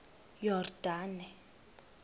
yordane